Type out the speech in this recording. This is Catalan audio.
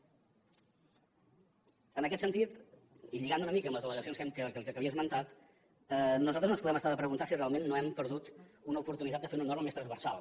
en aquest sentit i lligant una mica amb les al·legacions que li he esmentat nosaltres no ens podem estar de preguntar si realment no hem perdut una oportunitat de fer una norma més transversal